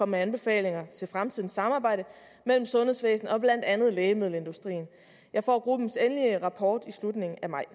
med anbefalinger til fremtidens samarbejde mellem sundhedsvæsenet og blandt andet lægemiddelindustrien jeg får gruppens endelige rapport i slutningen af maj